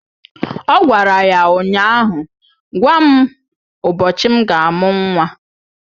Ọ gwara ya ụnyaahụ "Gwa m ụbọchị m ga-amụ nwa"!